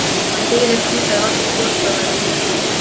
Hann byði ekki í það ef allir foreldrar væru svona fúlir.